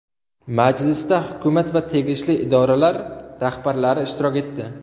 Majlisda hukumat va tegishli idoralar rahbarlari ishtirok etdi.